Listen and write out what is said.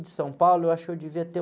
De São Paulo, eu acho que eu devia ter